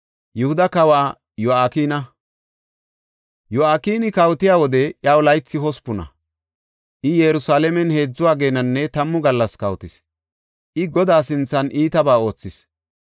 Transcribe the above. Yo7akini kawotiya wode iyaw laythi hospuna; I Yerusalaamen heedzu ageenanne tammu gallas kawotis. I Godaa sinthan iitabaa oothis.